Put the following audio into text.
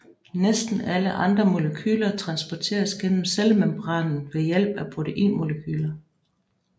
Næsten alle andre molekyler transporteres gennem cellemembranen ved hjælp af proteinmolekyler